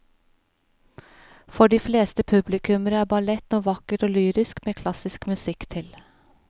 For de fleste publikummere er ballett noe vakkert og lyrisk med klassisk musikk til.